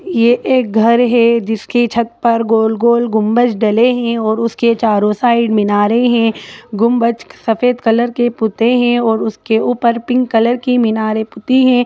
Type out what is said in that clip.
ये एक घर है जिसकी छत पर गोल-गोल गुंबज डले है और उसके चारों साइड मिनारे है गुंबज सफेद कलर के पुते है और उसके ऊपर पिंक कलर की मिनारे पुती है।